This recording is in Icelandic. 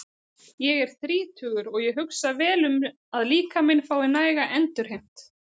Ég er þrítugur og ég hugsa vel um að líkaminn fái næga endurheimt.